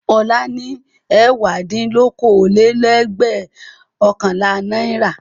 Ọlá ní ẹ̀wádínlókòólélẹ́ẹ̀dẹ́gbẹ̀ọ̀kànlá náírà.